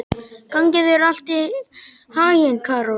Gangi þér allt í haginn, Karol.